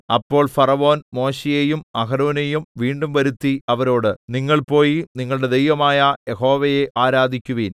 അപ്പോൾ ഫറവോൻ മോശെയെയും അഹരോനെയും വീണ്ടും വരുത്തി അവരോട് നിങ്ങൾ പോയി നിങ്ങളുടെ ദൈവമായ യഹോവയെ ആരാധിക്കുവിൻ